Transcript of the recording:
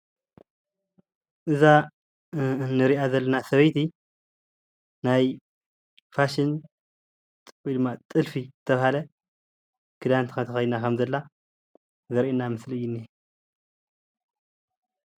እዛ እንሪኣ ዘለና ሰበይቲ ናይ ፋሽን ወይ ድማ ጥልፊ ዝተብሃለ ኽዳን ተኸዲና ኸም ዘላ ዘርእየና ምስሊ እዩ እኒሀ